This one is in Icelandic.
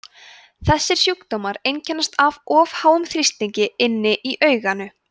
þessir sjúkdómar einkennast af of háum þrýstingi inni í auganu